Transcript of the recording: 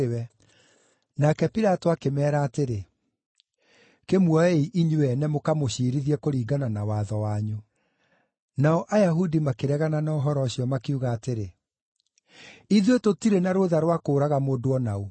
Nake Pilato akĩmeera atĩrĩ, “Kĩmuoei inyuĩ ene mũkamũciirithie kũringana na watho wanyu.” Nao Ayahudi makĩregana na ũhoro ũcio, makiuga atĩrĩ, “Ithuĩ tũtirĩ na rũũtha rwa kũũraga mũndũ o na ũ.”